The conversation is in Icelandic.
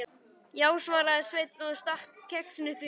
Já, svaraði Sveinn og stakk kexinu upp í sig.